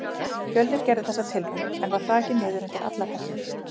Fjölnir gerði þessa tilraun, en var hrakinn niður undir allar hellur.